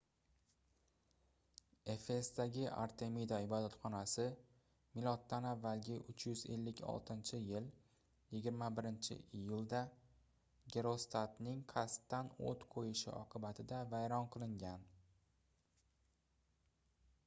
efesdagi artemida ibodatxonasi m.a. 356-yil 21-iyulda gerostratning qasddan oʻt qoʻyishi oqibatida vayron qilingan